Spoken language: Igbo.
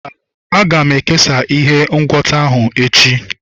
mba, aga m ekesa ihe ngwọta ahụ echi.